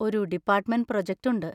ഒരു department project ഉണ്ട്.